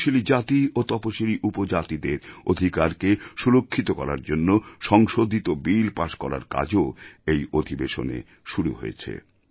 তপশিলী জাতি ও তপশিলী উপজাতিদের অধিকারকে সু্রক্ষিত করার জন্য সংশোধিত বিল পাস করার কাজও এই অধিবেশনে শুরু হয়েছে